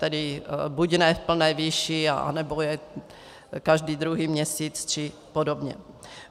Tedy buď ne v plné výši, nebo jen každý druhý měsíc, či podobně.